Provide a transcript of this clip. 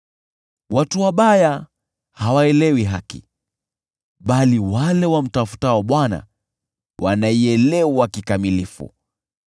Watu wabaya hawaelewi haki, bali wale wamtafutao Bwana wanaielewa kikamilifu.